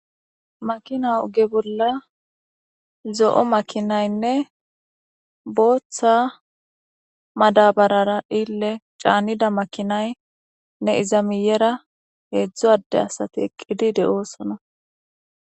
Makina oge bolla zo'o makinaynne booththa madabarara dhille caanida makinaynne izamiyera heedzdzu adde asati eqqidi de'oosona